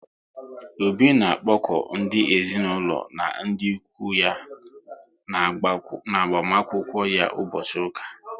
Obi na akpoku ndị ezinaụlọ na ndị ụkwụ ya na agbamakwụkwọ ya ụbọchị ụka